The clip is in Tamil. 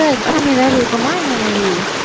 exam ஏதாவது இருக்குமா என்ன நிவி